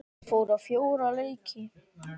Ég fór á fjóra leiki.